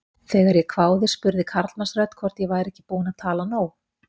Þegar ég hváði spurði karlmannsrödd hvort ég væri ekki búin að tala nóg.